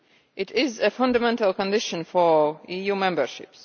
It is a fundamental condition for EU membership.